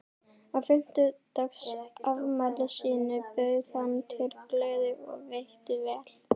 Á fimmtugsafmæli sínu bauð hann til gleði og veitti vel.